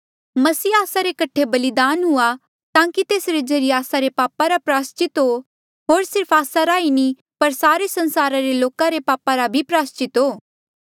मसीह आस्सा रे कठे बलिदान हुआ ताकि तेसरे ज्रीए आस्सा रे पापा रा प्रायस्चित हो होर सिर्फ आस्सा रा ई नी पर सारे संसारा रे लोका रे पापा रा भी प्रायस्चित हो